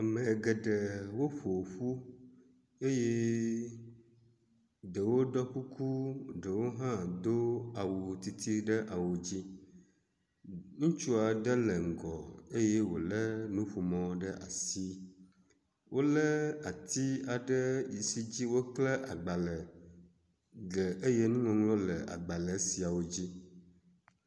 Ame geɖe wo ƒoƒu eye ɖewo ɖɔ kuku eye ɖewo hã do awu didi ɖe awu dzi, ŋutsu aɖe le ŋgɔ eye wole nuƒomɔ ɖe asi. Wole ati aɖe yi si dzi wokle agbalẽ ɖe eye nuŋɔŋlɔwo le agbalẽ sia dzi.